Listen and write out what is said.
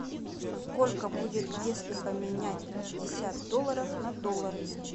сколько будет если поменять пятьдесят долларов на доллары